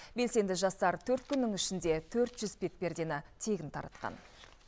белсенді жастар төрт күннің ішінде төрт жүз бетпердені тегін таратқан